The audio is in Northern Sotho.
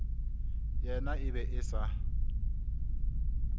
yena e be e sa